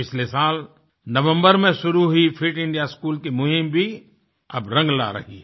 पिछले साल नवम्बर में शुरू हुई फिट इंडिया स्कूल की मुहीम भी अब रंग ला रही है